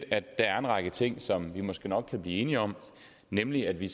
at der er en række ting som vi måske nok kan blive enige om nemlig at vi